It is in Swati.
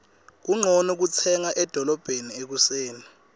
kuncono kutsenga edolobheni ekuseni